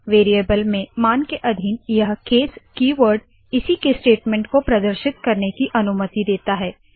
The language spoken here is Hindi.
वेरीयेबल में मान के अधीन यह केस कीवर्ड इसी के स्टेटमेंट को प्रदर्शित करने की अनुमति देता है